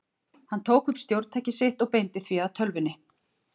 Hann tók upp stjórntækið sitt og beindi því að tölvunni.